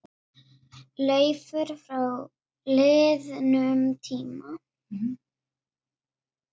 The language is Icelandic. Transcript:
Leiftur frá liðnum tíma.